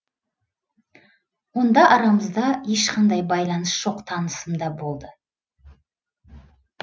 онда арамызда ешқандай байланыс жоқ танысым да болды